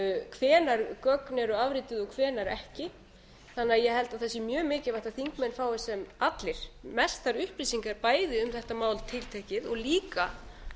hvenær gögn eru afrituð og hvenær ekki ég held að það sé mjög mikilvægt að þingmenn fái allir sem mestar upplýsingar bæði um þetta tiltekna mál og líka